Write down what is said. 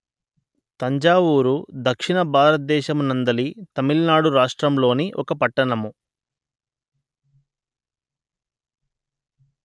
తంజావూరు దక్షిణ భారత దేశము నందలి తమిళనాడు రాష్ట్రములోని ఒక పట్టణము